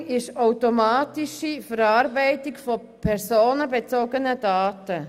Profiling bedeutet die automatische Verarbeitung von personenbezogenen Daten.